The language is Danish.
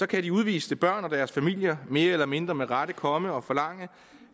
kan de udviste børn og deres familier mere eller mindre med rette komme og forlange